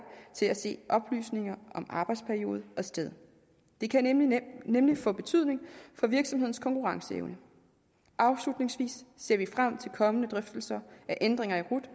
til at se oplysninger om arbejdsperiode og sted det kan nemlig nemlig få betydning for virksomhedens konkurrenceevne afslutningsvis ser frem til kommende drøftelser af ændringer i rut